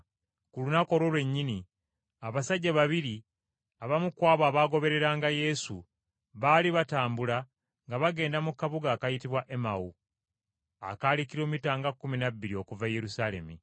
Ku lunaku olwo lwennyini abasajja babiri, abamu ku abo abaagobereranga Yesu, baali batambula nga bagenda mu kabuga akayitibwa Emawu, akaali kilomita nga kkumi na bbiri okuva e Yerusaalemi.